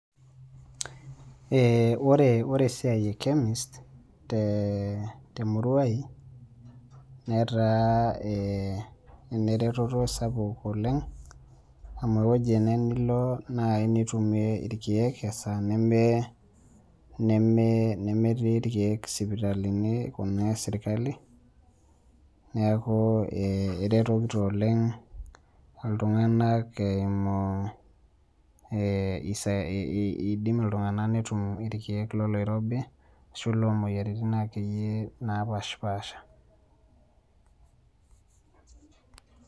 Ore esiai e Chemist, temurua ai, netaa eneretoto sapuk oleng, amu ewueji ene nilo nai nitumie irkeek esaa nemetii irkeek sipitalini kuna esirkali, neeku eretokito oleng iltung'anak eimu idim iltung'anak netum irkeek loloirobi, ashu lomoyiaritin akeyie napashipasha.